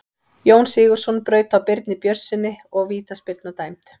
Jón Sigurðsson braut á Birni Björnssyni og vítaspyrna var dæmd.